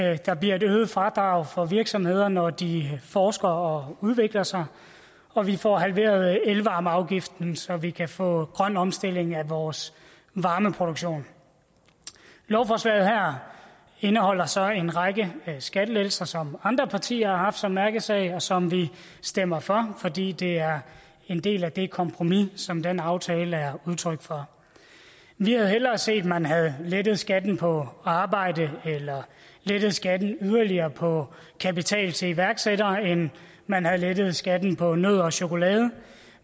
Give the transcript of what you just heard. og der bliver et øget fradrag for virksomheder når de forsker og udvikler sig og vi får halveret elvarmeafgiften så vi kan få grøn omstilling af vores varmeproduktion lovforslaget her indeholder så en række skattelettelser som andre partier har haft som mærkesag og som vi stemmer for fordi det er en del af det kompromis som den aftale er udtryk for vi havde hellere set at man havde lettet skatten på arbejde eller havde lettet skatten yderligere på kapital til iværksættere end at man havde lettet skatten på nødder og chokolade